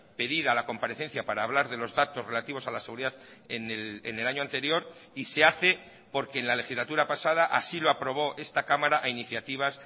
pedida la comparecencia para hablar de los datos relativos a la seguridad en el año anterior y se hace porque en la legislatura pasada así lo aprobó esta cámara a iniciativas